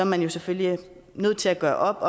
man selvfølgelig er nødt til at gøre op